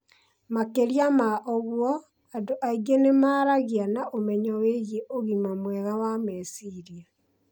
Makĩria ma ũguo, andũ aingĩ nĩ maragĩa na ũmenyo wĩgiĩ ũgima mwega wa meciria.